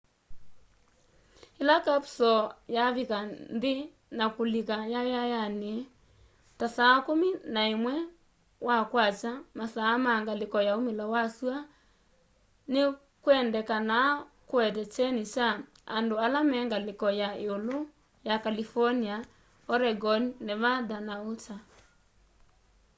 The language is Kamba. ĩla kapusoo yavika nthĩ na kulika yayayanĩ ta saa kumi na ĩmwe wa kwakya masaa ma ngalĩko ya umĩlo wa syũa nĩ kwendekanaa kũete kyeni kwa andũ ala me ngalĩko ya ĩũlũ ya california oregon nevada na utah